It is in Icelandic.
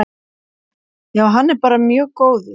Já hann er bara mjög góður.